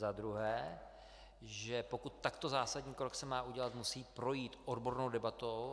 Za druhé, že pokud takto zásadní krok se má udělat, musí projít odbornou debatou.